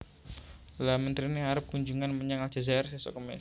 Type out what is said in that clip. Lha menterine arep kunjungan menyang Aljazair sesok kemis